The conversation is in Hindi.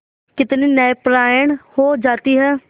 कितनी न्यायपरायण हो जाती है